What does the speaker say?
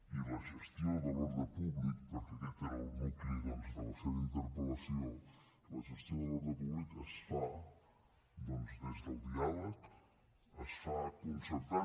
i la gestió de l’ordre públic perquè aquest era el nucli doncs de la seva interpel·lació doncs es fa des del diàleg es fa concertant